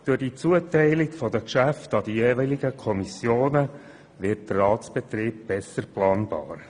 Durch die Zuteilung der Geschäfte an die jeweiligen Kommissionen wird der Ratsbetrieb besser planbar.